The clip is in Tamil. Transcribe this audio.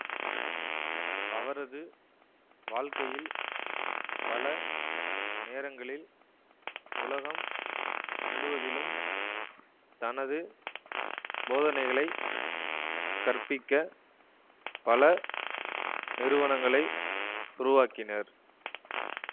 அவரது வாழ்க்கையில் பல நேரங்களில் உலகம் முழுவதிலும் தனது போதனைகளைக் கற்பிக்க பல நிறுவனங்களை உருவாக்கினர்